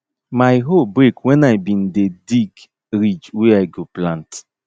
my hoe break wen i bin dey dig ridge wey i go plant